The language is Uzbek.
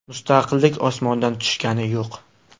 Mustaqillik osmondan tushgani yo‘q.